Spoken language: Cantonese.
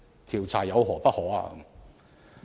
調查有何不可？